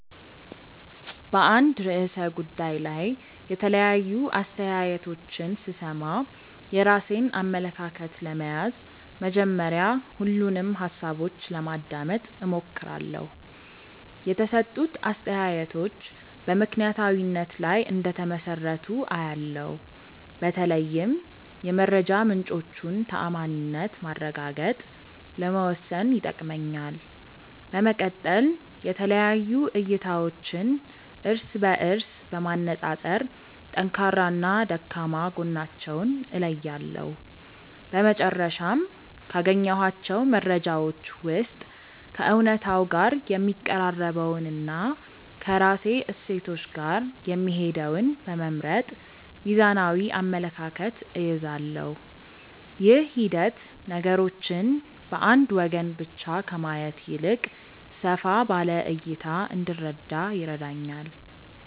በአንድ ርዕሰ ጉዳይ ላይ የተለያዩ አስተያየቶችን ስሰማ፣ የራሴን አመለካከት ለመያዝ መጀመሪያ ሁሉንም ሃሳቦች ለማዳመጥ እሞክራለሁ። የተሰጡት አስተያየቶች በምክንያታዊነት ላይ እንደተመሰረቱ አያለው፤ በተለይም የመረጃ ምንጮቹን ተዓማኒነት ማረጋገጥ ለመወሰን ይጠቅመኛል። በመቀጠል የተለያዩ እይታዎችን እርስ በእርስ በማነፃፀር ጠንካራና ደካማ ጎናቸውን እለያለሁ። በመጨረሻም፣ ካገኘኋቸው መረጃዎች ውስጥ ከእውነታው ጋር የሚቀራረበውንና ከራሴ እሴቶች ጋር የሚሄደውን በመምረጥ ሚዛናዊ አመለካከት እይዛለሁ። ይህ ሂደት ነገሮችን በአንድ ወገን ብቻ ከማየት ይልቅ ሰፋ ባለ እይታ እንድረዳ ይረዳኛል።